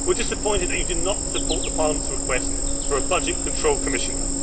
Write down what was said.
We are disappointed that you did not support Parliament's request for a budget control Commissioner.